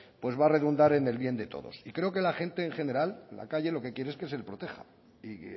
pues va a redundar en el bien de todos creo que la gente en general la calle lo que quiere es que se le proteja y